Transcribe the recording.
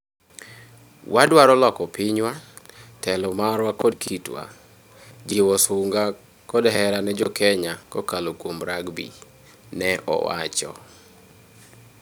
"Wadwaro loko pinywa, telo marwa kod kitwa; jiwo sunga kod hera ne jo Kenya kokalo kuom rugby", ne owacho.